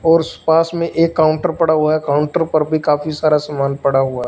और्स पास में एक काउंटर पड़ा हुआ है काउंटर पर भी काफी सारा सामान पड़ा हुआ है।